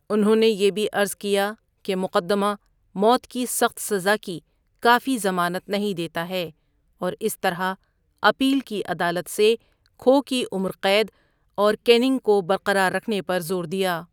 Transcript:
انہوں نے یہ بھی عرض کیا کہ مقدمہ موت کی سخت سزا کی کافی ضمانت نہیں دیتا ہے اور اس طرح اپیل کی عدالت سے کھو کی عمر قید اور کیننگ کو برقرار رکھنے پر زور دیا۔